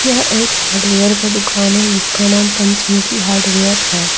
यह एक हार्डवेयर का दुकान है जिसका नाम पंचमुखी हार्डवेयर है।